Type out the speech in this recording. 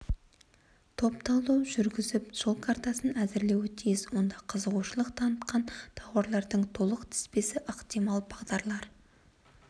топ талдау жүргізіп жол картасын әзірлеуі тиіс онда қызығушылық танытқан тауарлардың толық тізбесі ықтимал бағдарлар